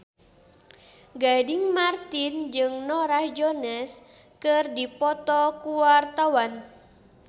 Gading Marten jeung Norah Jones keur dipoto ku wartawan